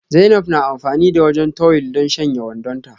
Zainab na amfani da wajen tuwil don shanya wandonta.